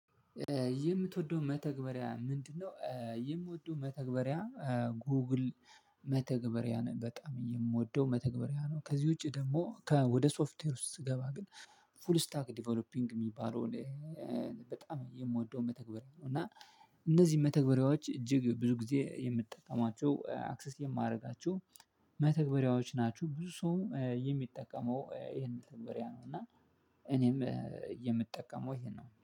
የምትወደው መተግበሪያ ምንድነው የምወደው መተግበሪያ ጎግል መተግበሪያ ነው በጣም የምወደው መተግበሪያ ነው ከዚህ ውጪ ደግሞ ከወደ ሶፍትዌር ውስጥ ስገባ ግን ፉል ስታክድ ዲቨሎፒንግ የሚባለውን በጣም የምወደውን መተግበሪያ ነው እና እነዚህ መተግበሪያዎች እጅግ ብዙ ጊዜ የምትጠቀማቸው አክሰስ የማደርጋችሁ መተግበሪያዎች ናቸሁ። ብዙ ሰው የሚጠቀመው ይሄን መተግበሪያ ነው እና እኔም የምጠቀመው ይሄን ነው